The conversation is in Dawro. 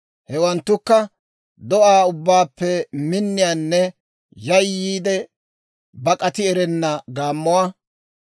Hewanttukka: do'aa ubbaappe minniyaanne yayyiide bak'ati erenna gaammuwaa;